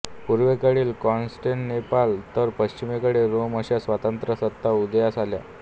पूर्वेकडील कॉन्स्टॅन्टिनोपाल तर पश्चिमेकडे रोम अशा स्वतंत्र सत्ता उदयास आल्या